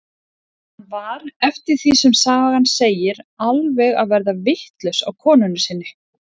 Hann var, eftir því sem sagan segir, alveg að verða vitlaus á konunni sinni.